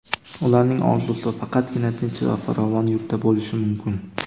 Ularning orzusi faqatgina tinch va farovon yurtda bo‘lishi mumkin.